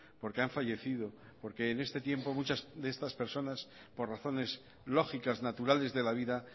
porque han fallecido porque en este tiempo muchas de estas personas por razones lógicas naturales de la vida